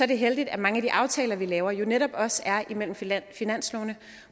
det heldigt at mange af de aftaler vi laver jo netop også er imellem finanslovene